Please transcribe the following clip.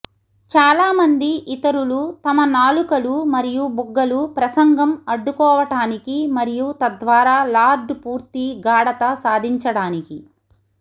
చాలామంది ఇతరులు తమ నాలుకలు మరియు బుగ్గలు ప్రసంగం అడ్డుకోవటానికి మరియు తద్వారా లార్డ్ పూర్తి గాఢత సాధించడానికి